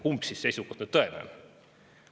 Kumb seisukoht siis nüüd tõene on?